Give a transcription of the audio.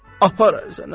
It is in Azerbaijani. Apar ərzəni, apar.